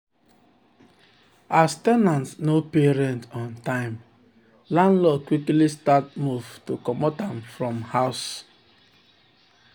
as ten ant no pay rent on time landlord quickly start move to comot am from house.